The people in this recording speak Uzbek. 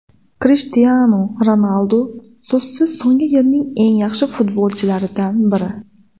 Krishtianu Ronaldu so‘zsiz so‘nggi yillarning eng yaxshi futbolchilaridan biri.